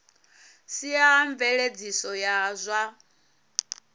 sia a mveledziso ya zwa